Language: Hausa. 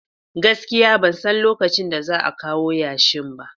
Gaskiya ban san lokacin da za a kawo yashin ba